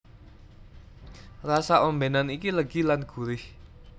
Rasa ombènan iki legi lan gurih